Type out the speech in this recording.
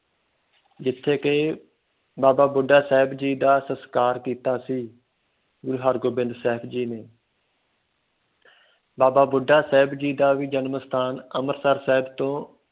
ਜਿਥੇ ਕਿ ਬਾਬਾ ਬੁੱਢਾ ਸਾਹਿਬ ਜੀ ਦਾ ਸੰਸਕਾਰ ਕੇਤਾ ਸੀ ਗੁਰੂ ਹਰਗੋਬਿੰਦ ਸਾਹਿਬ ਜੀ ਨੇ ਬਾਬਾ ਬੁੱਢਾ ਸਾਹਿਬ ਜੀ ਦਾ ਵੀ ਜਨਮ ਸਥਾਨ ਅੰਮ੍ਰਿਤਸਰ ਸਾਹਿਬ ਤੋਂ